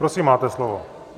Prosím, máte slovo.